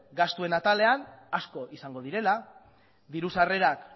gastuen atalean asko izango direla diru sarrerak